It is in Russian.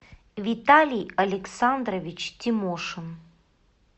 виталий александрович тимошин